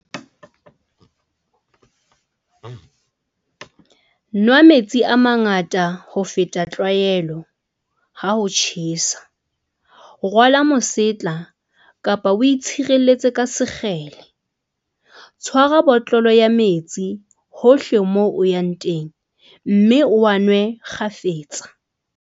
Nwa metsi a mangata ho feta tlwaelo, ha ho tjhesa. Rwala mosetla kapa o itshireletse ka sekgele. Tshwara botlolo ya metsi hohle moo o yang teng mme o a nwe kgafetsa.